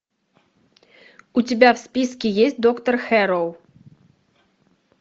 у тебя в списке есть доктор хэрроу